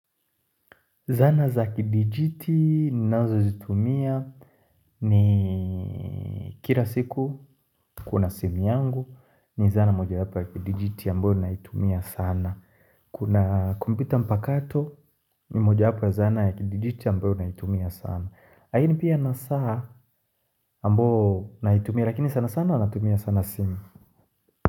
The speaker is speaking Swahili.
Zana za kidijiti ninazo zitumia ni kila siku kuna simu yangu ni zana moja hapa ya kidijiti ambayo naitumia sana. Kuna kumpita mpakato ni moja hapa ya zana ya kidijiti ambayo naitumia sana. Laini pia na saa ambayo naitumia lakini sana sana natumia sana sim.